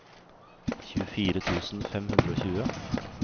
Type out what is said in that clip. tjuefire tusen fem hundre og tjue